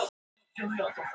Það var Heiða sem öskraði.